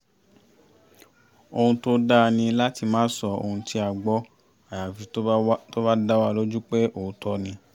ohun tó dá ní láti má sọ ohun tí a gbọ́ àyàfi tó bá dá wa lójú pé òótọ́ ni